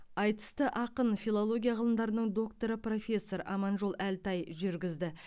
айтысты ақын филология ғылымдарының докторы профессор аманжол әлтай жүргізді